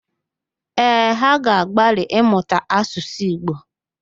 Ee, ha ga-agbalị ịmụta Asụsụ Igbo